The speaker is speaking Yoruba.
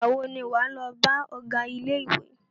Ìgbà wo ni wà á lọ bá ọgá ilé ìwé?